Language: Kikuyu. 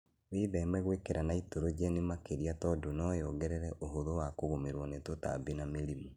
Wĩtheme gwĩkĩra naitrogeni makĩria tondũ noyongerere ũhũthũ wa kũgũmĩrwo nĩ tũtambi na mĩrimũ